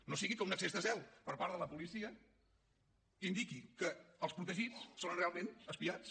no sigui que un excés de zel per part de la policia indiqui que els protegits són realment espiats